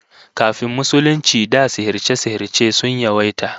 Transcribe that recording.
Kafin Musulunci da sihirce-sihirce sun yawaita